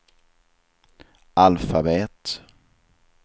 alfabet